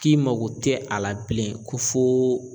K'i mago tɛ a la bilen ko fo